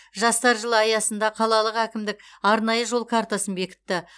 жастар жылы аясында қалалық әкімдік арнайы жол картасын бекітті